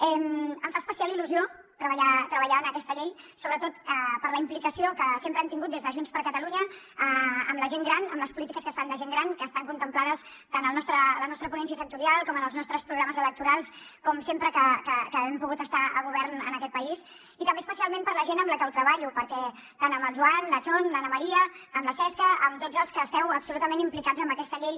em fa especial il·lusió treballar en aquesta llei sobretot per la implicació que sempre hem tingut des de junts per catalunya amb la gent gran amb les polítiques que es fan de gent gran que estan contemplades tant a la nostra ponència sectorial com en els nostres programes electorals com sempre que hem pogut estar a govern en aquest país i també especialment per la gent amb la que ho treballo perquè tant amb el joan com amb la chon l’anna maria la cesca amb tots els que esteu absolutament implicats en aquesta llei